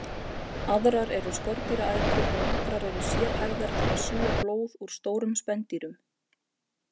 Aðrar eru skordýraætur og nokkrar eru sérhæfðar til að sjúga blóð úr stórum spendýrum.